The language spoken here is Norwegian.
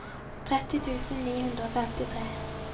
tretti tusen ni hundre og femtitre